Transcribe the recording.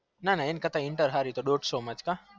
નાના એના કરતા inter હારી દોડ્સો માં જ કા